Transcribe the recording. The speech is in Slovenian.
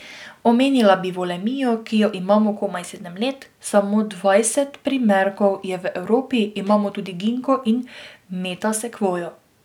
Omenila bi volemijo, ki jo imamo komaj sedem let, samo dvajset primerkov je v Evropi, imamo tudi ginko in metasekvojo.